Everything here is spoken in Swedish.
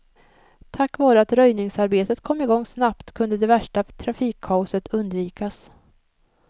Tack vare att röjningsarbetet kom i gång snabbt kunde det värsta trafikkaoset undvikas.